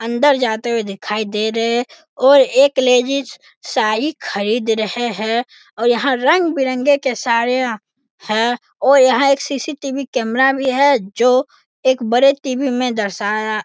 अंदर जाते हुए दिखाई दे रहें हैं और एक लेडीज साड़ी खरीद रहें हैं और यहाँ रंग बिरंगे के साड़ियां हैं और यहाँ एक सी.सी.टि.वी. कैमरा भी है जो एक बड़े टी.वी. में दर्शाया --